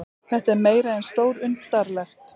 Þetta er meira en stórundarlegt